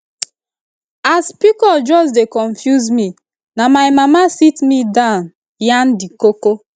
as pcos just dey confuse me na my mama sit me down yarn the koko